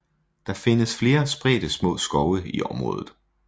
Der findes flere spredte små skove i området